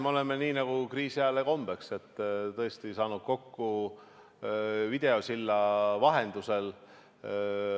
Me oleme, nii nagu kriisiajale kombeks, tõesti saanud kokku videosilla vahendusel.